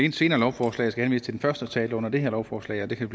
et senere lovforslag skal henvise til den første tale under det her lovforslag og det kan